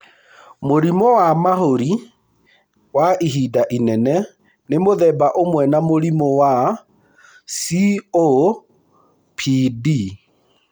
Mũrimũ wa mahũri wa ihinda inene nĩ mũthemba ũmwe wa mũrimũ wa COPD.